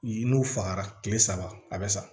N'u fagara kile saba a bɛ sa